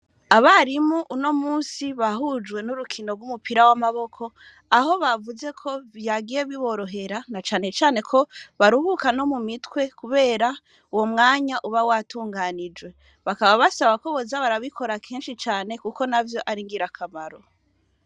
Abarimu uno munsi bahujwe n'urukino rwumupira wamaboko, aho bavuzeko vyagiye biborohera na cane cane ko baruhuka no mu mitwe kubera uwo mwanya uba watunganijwe, bakaba basaba ko boza barabikora kenshi cane kuko navyo ari ngirakamaro.